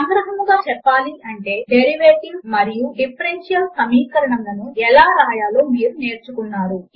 సంగ్రహముగా చెప్పాలి అంటే డెరివేటివ్స్ మరియు డిఫరెన్షియల్ సమీకరణములను ఎలా వ్రాయాలో మీరు నేర్చుకున్నారు